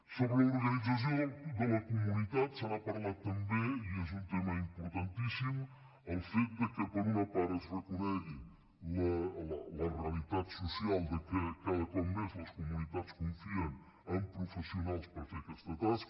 sobre l’organització de la comunitat se n’ha parlat també i és un tema importantíssim el fet que per una part es reconegui la realitat social que cada cop més les comunitats confien en professionals per fer aquesta tasca